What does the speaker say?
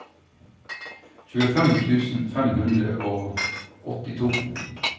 tjuefem tusen fem hundre og åttito